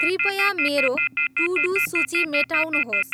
कृपया मेरो to do सूची मेटाउनुहोस्